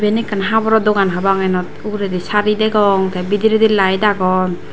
iban ekkan haboro dogan prapang ianot ugurendi sari degong te bidirendi light agon.